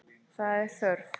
Það er þörf.